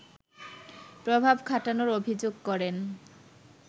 প্রভাব খাটানোর অভিযোগ করেন